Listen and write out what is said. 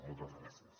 moltes gràcies